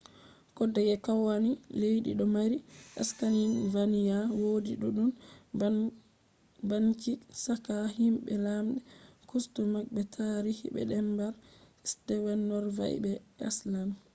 kodeyeke kowani leddi do mari ‘scandinavian’ wodi duddum banbanci chaka himbe lamde customs be tarihi je denmark sweden norway be iceland